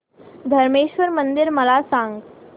धरमेश्वर मंदिर मला सांग